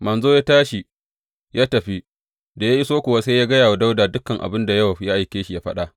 Manzon ya tashi ya tafi, da ya iso kuwa sai ya gaya wa Dawuda dukan abin da Yowab ya aike shi yă faɗa.